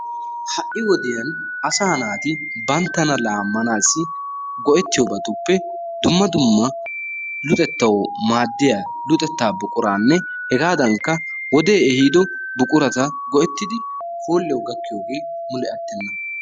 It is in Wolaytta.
Ha'i wodiyaan asa naati banttana laamanassi go''etiyoobatuppe dumma dumma luxetaw maaddiya luxetta buquranne hegadankka wode ehido buqurata go''ettidi hooliyaw gakkiyooge attenna.